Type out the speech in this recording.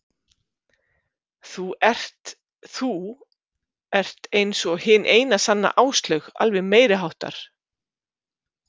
Þú ert þú ert eins og hin eina sanna Áslaug, alveg meiriháttar.